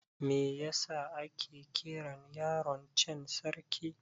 Me yasa ake kiran yaron can Sarki?